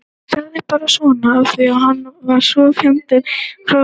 Ég sagði bara svona af því að hann er svo fjandi fráhrindandi.